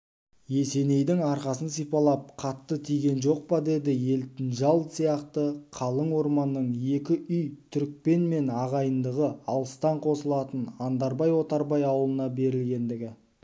есенейдің арқасын сипалап қатты тиген жоқ па деді елтінжал сияқты қалың орманның екі үй түрікпенмен ағайындығы алыстан қосылатын андарбай-отарбай ауылына берілгендігі